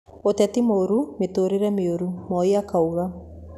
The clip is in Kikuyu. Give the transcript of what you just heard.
ũteti mũũru mitũũrĩre mĩũru, Moi akiuga